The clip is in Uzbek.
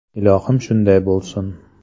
Ilohim, shunday bo‘lsin!